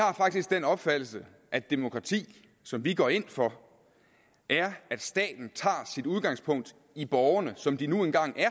har faktisk den opfattelse at demokrati som vi går ind for er at staten tager sit udgangspunkt i borgerne som de nu engang er